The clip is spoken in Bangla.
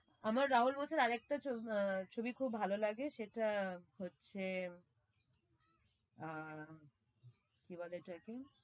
আমার রাহুল বোস এর আর একটা আহ ছবি খুব ভালো লাগে সেটা হচ্ছে আহ কি বলে ওটাকে